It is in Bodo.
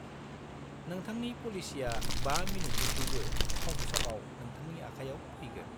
-नोंथांनि पलिसिया 5 मिनिटनिख्रुइबो खम समाव नोंथांनि आखायाव फैगोन।